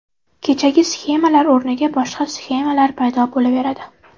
Kechagi sxemalar o‘rniga boshqa sxemalar paydo bo‘laveradi.